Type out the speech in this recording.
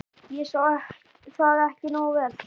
. ég sá það ekki nógu vel.